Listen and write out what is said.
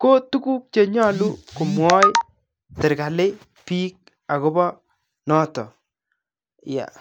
koo tuguk chenyolu komwoe serikali biik akobo noton yaa.